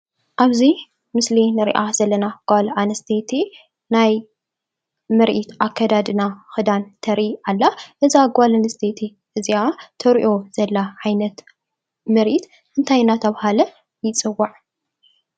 ኣብዚ ምስሊ ንሪአ ዘለና ጓል ኣንስተይቲ ናይ ምርኢት ኣከዳድና ክዳን ተርኢ ኣላ። እዛ ጓል ኣንስተይቲ እዚኣ ተርእዮ ዘላ ዓይነት ምርኢት እንታይ እናተባህለ ይፅዋዕ?